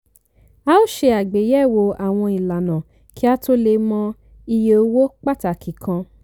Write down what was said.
a ó ṣe àgbéyẹ̀wò àwọn ìlànà kí a tó lè mọ iye owó pàtàkì kan.